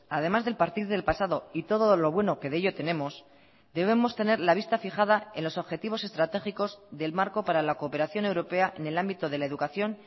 además del partir del pasado y todo lo bueno que de ello tenemos debemos tener la vista fijada en los objetivos estratégicos del marco para la cooperación europea en el ámbito de la educación